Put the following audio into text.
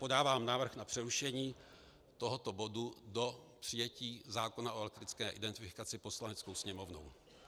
Podávám návrh na přerušení tohoto bodu do přijetí zákona o elektronické identifikaci Poslaneckou sněmovnou.